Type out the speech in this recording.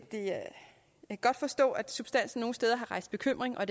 godt forstå at substansen nogle steder har rejst bekymring og